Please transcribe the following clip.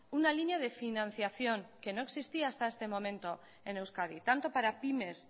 una línea de financiación que no existía hasta este momento en euskadi tanto para pymes